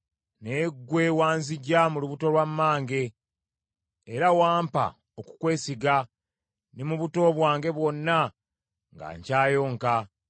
Naye ggwe wanziggya mu lubuto lwa mmange, era wampa okukwesiga ne mu buto bwange bwonna nga nkyayonka.